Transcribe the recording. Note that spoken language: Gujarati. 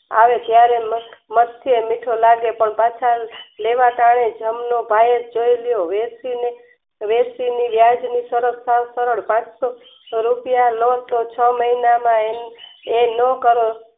આવો ત્યારે મત્સ્ય મીઠું લાગે પણ પાછળ લેવા ટાણે જમનો ભાઈ જોય લ્યો વેરશીની વ્યાજની સરત સાવ સરળ રૂપિયા ન છ મહિનાના એ નો કરે